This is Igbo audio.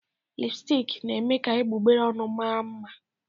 Lipụstik na-eme ka egbugbere ọnụ mara mma.